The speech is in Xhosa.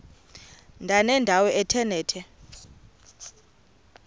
ndanendawo ethe nethe